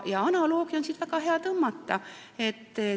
Paralleeli on väga hea tõmmata.